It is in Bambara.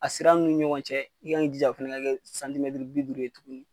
A sira nunnu ni ɲɔgɔn cɛ a kan ki jija o fana ka kɛ bi duuru ye tuguni